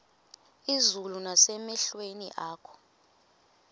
izulu nasemehlweni akho